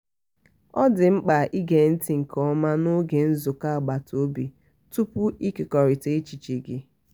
ọ dị mkpa ige nti nke ọma n'oge nzukọ agbata obi tupu ikekọrita echiche gị.